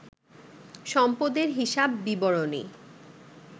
সম্পদের হিসাব বিবরণী